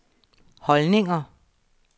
holdninger